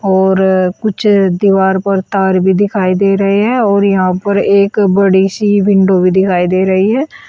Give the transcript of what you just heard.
और कुछ दीवार पर तार भी दिखाई दे रहे हैं और यहाँ पर एक बड़ी सी विंडो भी दिखाई दे रही है।